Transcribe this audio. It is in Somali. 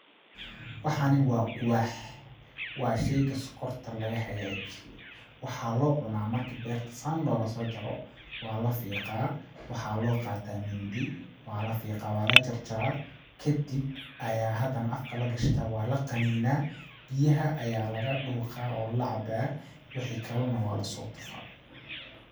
Waxani waa quwaax waa sheyga sokorta laga hagaajiyo ,waxaa loo cunaa marki beerta saan looga soo jaro ,waa la fiqaa ,waxaa loo qataa mindi ,waa la fiqaa ,waa la jarjaraa ,kadib ,ayaa hadana afka la gashtaa waa la qaninaa ,biyaha ayaa laga dhuqaa oo ,la cabaa wixi kale na waa lasoo tufaa.